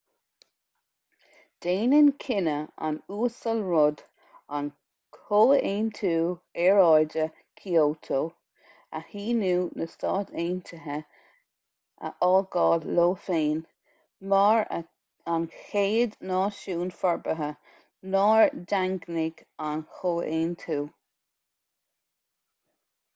déanann cinneadh an uasail rudd an comhaontú aeráide kyoto a shíniú na stát aontaithe a fhágáil leo féin mar an chéad náisiún forbartha nár daingnigh an chomhaontú